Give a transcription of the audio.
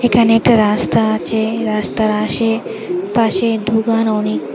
এখানে একটা রাস্তা আছে রাস্তার আশে পাশে দুকান অনেক।